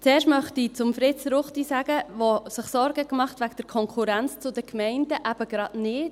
Zuerst möchte ich zu Fritz Ruchti, sagen der sich Sorge macht wegen der Konkurrenz zu den Gemeinden: eben gerade nicht.